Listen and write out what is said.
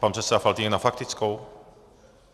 Pan předseda Faltýnek na faktickou?